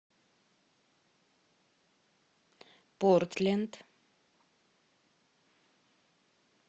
портленд